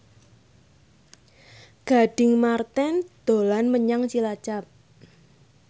Gading Marten dolan menyang Cilacap